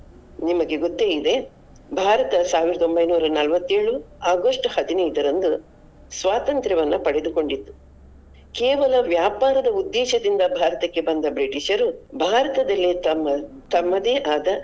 ನಿಮಗೆ ಗೊತ್ತೇ ಇದೆ ಭಾರತ ಸಾವಿರದ ಒಂಬೈನೂರ ನಲವತ್ತೇಳು August ಹದಿನೈದರಂದು ಸ್ವಾತಂತ್ರ್ಯವನ್ನು ಪಡೆದುಕೊಂಡಿತು. ಕೇವಲ ವ್ಯಾಪಾರದ ಉದ್ದೇಶದಿಂದ ಭಾರತಕ್ಕೆ ಬಂದ ಬ್ರಿಟಿಷರು ಭಾರತದಲ್ಲಿ ತಮ್ಮ ತಮ್ಮದೇ ಆದ.